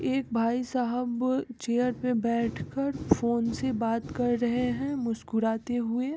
एक भाईसाहब चेयर पे बैठकर फ़ोन से बात कर रहे है मुस्कुराते हुए।